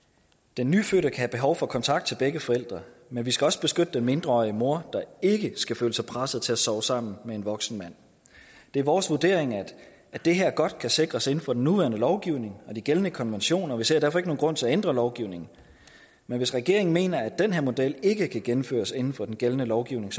den nyfødte kan have behov for kontakt til begge forældre men vi skal også beskytte den mindreårige mor der ikke skal føle sig presset til at sove sammen med en voksen mand det er vores vurdering at det her godt kan sikres inden for den nuværende lovgivning og de gældende konventioner og vi ser derfor ikke nogen grund til at ændre lovgivningen hvis regeringen mener at den her model ikke kan gennemføres inden for den gældende lovgivning